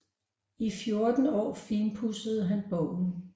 I fjorten år finpudsede han bogen